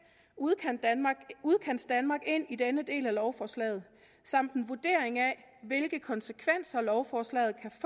udkantsdanmark udkantsdanmark ind i denne del af lovforslaget samt en vurdering af hvilke konsekvenser lovforslaget kan